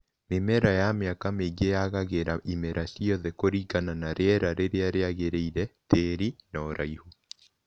Mĩmera ya mĩaka mĩingĩ yagagĩra imera ciothe kuringana na riera rĩrĩa rĩagĩrĩire, tĩĩri na ũraihu